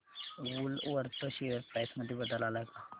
Woolworth share price मध्ये बदल आलाय का